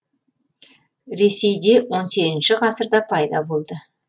ресейде он сегізінші ғасырда пайда болды